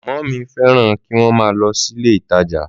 Mọmi fẹràn kí wọn má lọ sílé ìtajà